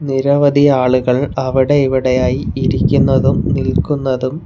നിരവധി ആളുകൾ അവിടെ ഇവിടെയായി ഇരിക്കുന്നതും നിൽക്കുന്നതും --